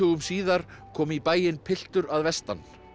síðar kom í bæinn piltur að vestan